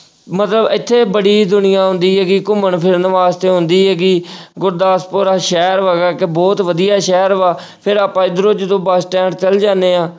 ਮਤਲਬ ਇੱਥੇ ਬੜੀ ਦੁਨੀਆਂ ਆਉਂਦੀ ਹੈਗੀ ਘੁੰਮਣ ਫਿਰਨ ਵਾਸਤੇ ਆਉਂਦੀ ਹੈਗੀ ਗੁਰਦਾਸਪੁਰ ਆ ਸ਼ਹਿਰ ਕਿ ਬਹੁਤ ਵਧੀਆ ਸ਼ਹਿਰ ਵਾ ਫਿਰ ਆਪਾਂ ਇੱਧਰੋਂ ਜਦੋਂ ਬਸ ਸਟੈਂਡ ਚਲੇ ਜਾਂਦੇ ਹਾਂ,